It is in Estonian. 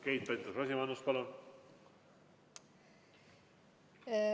Keit Pentus-Rosimannus, palun!